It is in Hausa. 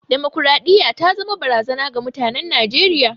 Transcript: Damakwaraɗiyya ta zama barazana ga mutanen Najeriya.